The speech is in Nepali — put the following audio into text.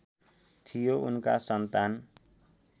थियो उनका सन्तान